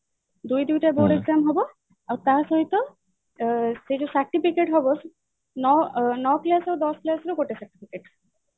ଦୁଇ ଦୁଇଟା board exam ହବ ଆଉ ତା ସହିତ ସେ ଯୋଉ certificate ହବ ନଅ class ଆଉ ଦଶ class ର ଗୋଟେ